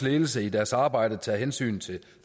ledelse i deres arbejde tager hensyn til